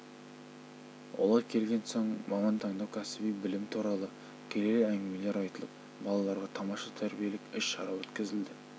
олар келген соң мамандық таңдау кәсіби білім туралы келелі әңгімелер айтылып балаларға тамаша тәрбиелік іс-шара өткізілді